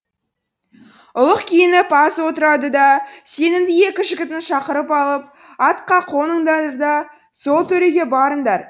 ұлық күйініп аз отырады да сенімді екі жігітін шақырып алып атқа қоныңдар да сол төреге барыңдар